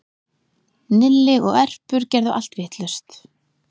Nilli og Erpur gerðu allt vitlaust